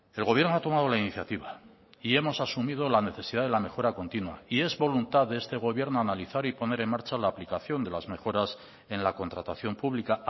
el gobierno ha tomado la iniciativa y hemos asumido la necesidad de la mejora continua y es voluntad de este gobierno analizar y poner en marcha la aplicación de las mejoras en la contratación pública